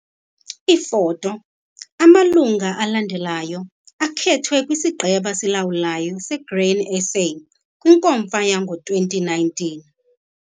Iifoto- Amalungu alandelayo akhethwe kwisiGqeba siLawulayo seGrain SA kwiNkomfa yango-2019.